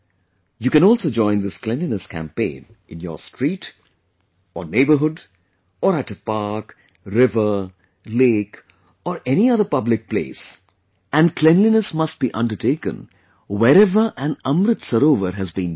You can also join this cleanliness campaign in your street, or neighbourhood...or at a park, river, lake or any other public place and cleanliness must be undertaken wherever an AmritSarovar has been built